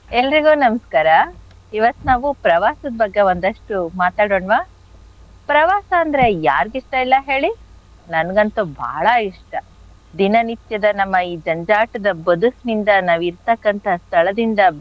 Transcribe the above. ಎಲ್ರಿಗೂ ನಮಸ್ಕಾರ. ಇವತ್ ನಾವು ಪ್ರವಾಸದ್ ಬಗ್ಗೆ ಒಂದಷ್ಟು ಮಾತಾಡೋಣ್ವ? ಪ್ರವಾಸ ಅಂದ್ರೆ ಯಾರಿಗಿಷ್ಟ ಇಲ್ಲ ಹೇಳಿ? ನನ್ಗಂತು ಬಹಳ ಇಷ್ಟ. ದಿನ ನಿತ್ಯದ ನಮ್ಮ ಈ ಜಂಜಾಟದ ಬದುಕ್ನಿಂದ ನಾವಿರ್ತಕ್ಕಂಥ ಸ್ಥಳದಿಂದ,